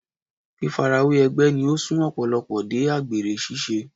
Fífarawé ẹgbẹ́ ni ó sún Ọ̀pọ̀lọ́pọ̀ dé àgbèrè ṣíṣe.